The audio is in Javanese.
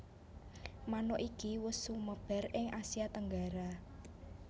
Manuk iki wus sumebar ing Asia Tenggara